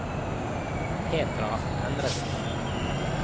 Petra Endresen